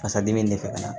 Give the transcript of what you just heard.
Fasa dimi de fɛ ka na